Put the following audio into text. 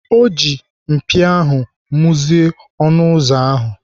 Ọ ji mpia ahụ muzie ọnụ ụzọ ahụ.